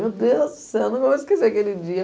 Meu Deus do céu, eu não vou me esquecer aquele dia.